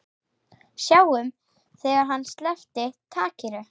Sáum þegar hann sleppti takinu.